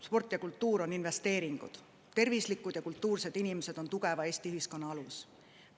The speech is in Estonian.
Sport ja kultuur on investeeringud: tervislikud ja kultuursed inimesed on tugeva Eesti ühiskonna alus.